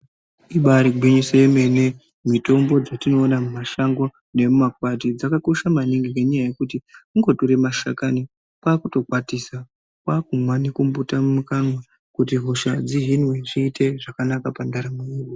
Ibaari gwinyiso yemene mitombo dzetinoona mumashango nemumakwati dzakakosha maningi nekuti kungotora mashakani kwaakutokwanise kwaakumwa nekumbuta mukanwa kuti hosha dzihinwe zviite zvakanaka pandaramo yedu .